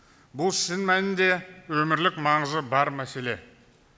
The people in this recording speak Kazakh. бұл шын мәнінде өмірлік маңызы бар мәселе